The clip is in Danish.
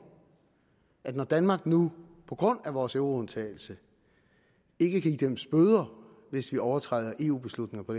at når danmark nu på grund af vores euroundtagelse ikke kan idømmes bøder hvis vi overtræder eu beslutninger på